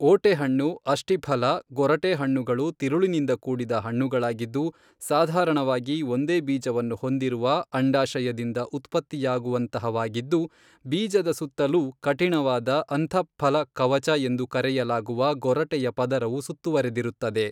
ಓಟೆಹಣ್ಣು ಅಷ್ಟಿಫಲ ಗೊರಟೆಹಣ್ಣುಗಳು ತಿರುಳಿನಿಂದ ಕೂಡಿದ ಹಣ್ಣುಗಳಾಗಿದ್ದು ಸಾಧಾರಣವಾಗಿ ಒಂದೇ ಬೀಜವನ್ನು ಹೊಂದಿರುವ ಅಂಡಾಶಯದಿಂದ ಉತ್ಪತ್ತಿಯಾಗುವಂತಹವಾಗಿದ್ದು ಬೀಜದ ಸುತ್ತಲೂ ಕಠಿಣವಾದ ಅಂತಃಫಲಕವಚ ಎಂದು ಕರೆಯಲಾಗುವ ಗೊರಟೆಯ ಪದರವು ಸುತ್ತುವರೆದಿರುತ್ತದೆ.